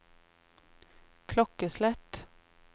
klokkeslett